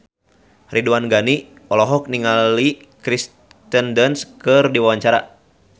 Ridwan Ghani olohok ningali Kirsten Dunst keur diwawancara